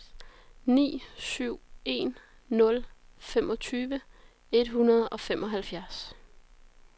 ni syv en nul femogtyve et hundrede og femoghalvfjerds